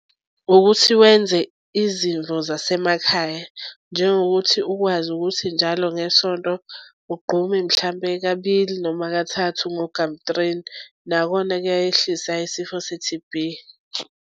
Ukuthi wenze izimvo zasemakhaya njengokuthi ukwazi ukuthi njalo ngesonto ugqume mhlampe kabili noma kathathu ngogamtrini. Nakhona kuyayehlisa isifo se-T_B.